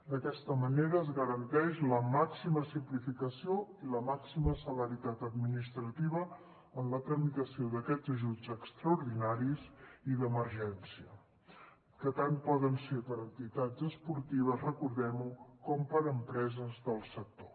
d’aquesta manera es garanteix la màxima simplificació i la màxima celeritat administrativa en la tramitació d’aquests ajuts extraordinaris i d’emergència que tant poden ser per a entitats esportives recordem ho com per a empreses del sector